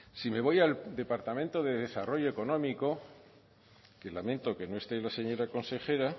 si me voy a departamento de desarrollo económico que lamento que no esté la señora consejera